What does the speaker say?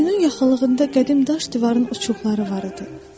Quyunun yaxınlığında qədim daş divarın uçuqları var idi.